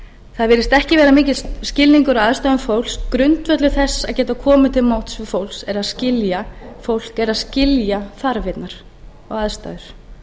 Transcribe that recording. það virðist ekki vera mikill skilningur á aðstæðum fólks grundvöllur þess að geta komið til móts við fólk er að skilja fólk er að skilja þarfirnar og aðstæður